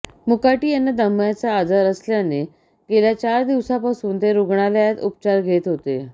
मुकाटी यांना दम्याचा आजार असल्याने गेल्या चार दिवसांपासून ते रुग्णालयात उपचार घेत होते